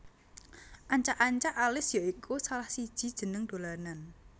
Ancak ancak Alis ya iku salah siji jeneng dolanan